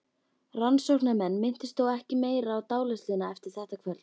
Rannsóknarmenn minntust þó ekki meira á dáleiðsluna eftir þetta kvöld.